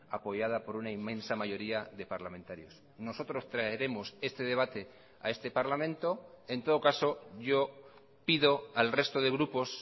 apoyada por una inmensa mayoría de parlamentarios nosotros traeremos este debate a este parlamento en todo caso yo pido al resto de grupos